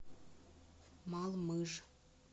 малмыж